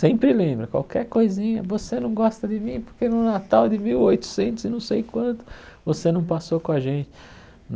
Sempre lembra, qualquer coisinha, você não gosta de mim porque no Natal de mil oitocentos e não sei quanto, você não passou com a gente.